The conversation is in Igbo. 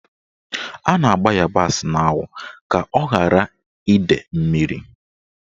A na-agba ịyabasị n'anwụ ka ọ ghara ide mmiri.